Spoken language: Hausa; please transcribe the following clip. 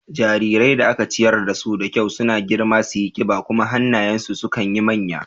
Jarirai da aka ciyar dasu da kyau suna girma suyi ƙiba kuma hannayen su sukan yi manya.